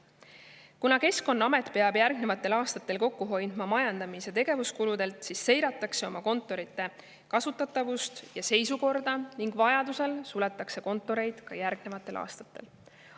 Kuna Keskkonnaamet peab järgnevatel aastatel majandamis- ja tegevuskulusid kokku hoidma, siis seiratakse oma kontorite kasutatavust ja seisukorda ning vajadusel suletakse kontoreid ka järgnevatel aastatel.